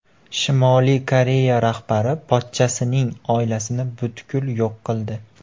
Shimoliy Koreya rahbari pochchasining oilasini butkul yo‘q qildi.